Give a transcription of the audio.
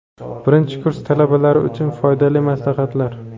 Birinchi kurs talabalari uchun foydali maslahatlar.